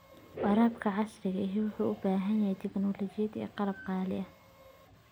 Waraabka casriga ahi wuxuu u baahan yahay tignoolajiyad iyo qalab qaali ah.